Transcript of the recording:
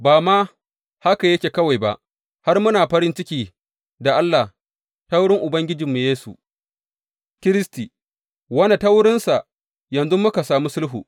Ba ma haka yake kawai ba, har muna farin ciki da Allah ta wurin Ubangijinmu Yesu Kiristi, wanda ta wurinsa yanzu muka sami sulhu.